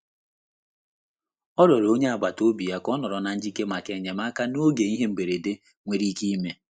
Ọ rịọrọ onye agbata obi ya ka ọ nọrọ na njikere maka enyemaka n'oge ihe mberede nwere ike ime.